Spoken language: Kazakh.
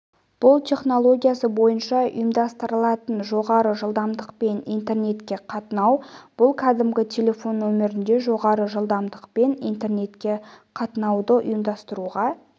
бұл технологиясы бойынша ұйымдастырылатын жоғары жылдамдықпен интернетке қатынау бұл кәдімгі телефон нөмірінде жоғары жылдамдықпен интернетке қатынауды ұйымдастыруға